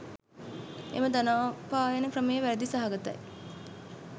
එම ධනෝපායන ක්‍රමය වැරැදි සහගතයි.